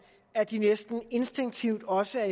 at de næsten instinktivt også er